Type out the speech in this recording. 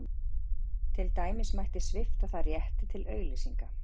Til dæmis mætti svipta það rétti til auglýsinga.